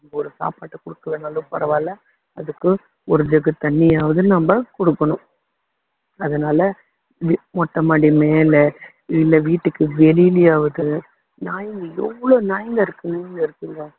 நீங்க ஒரு சாப்பாட்ட குடுக்கலைன்னாலும் பரவாயில்ல அதுக்கு ஒரு jug தண்ணியாவது நம்ம குடுக்கணும் அதனால இ~ மொட்டமாடி மேல இல்ல வீட்டுக்கு வெளியிலயாவது நாய்ங்க எவ்வளவு நாய்ங்க line ல இருக்குங்க